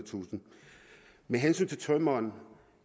med hensyn til tømreren